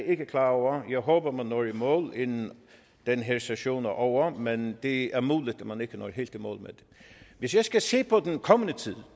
ikke klar over jeg håber at man når i mål inden den her session er ovre men det er muligt at man ikke når helt i mål med det hvis jeg skal se på den kommende tid